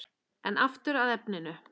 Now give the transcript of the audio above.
En aftur að efninu.